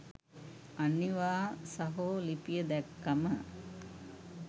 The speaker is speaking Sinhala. අනිවා සහෝ ලිපිය දැක්කම